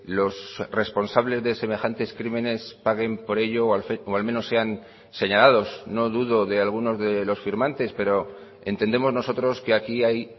los responsables de semejantes crímenes paguen por ello o al menos sean señalados no dudo de algunos de los firmantes pero entendemos nosotros que aquí hay